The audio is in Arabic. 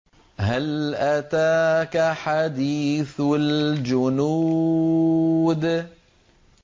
هَلْ أَتَاكَ حَدِيثُ الْجُنُودِ